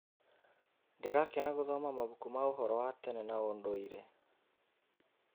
Ndĩrakena gũthoma mabuku ma ũhoro wa tene na ũndũire.